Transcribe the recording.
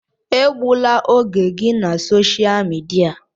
Egbula oge gị na sosha midia!